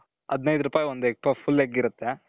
ಅದ್ನೈದು ರುಪಾಯಿಗೆ ಒಂದು egg puff, full egg ಇರುತ್ತೆ.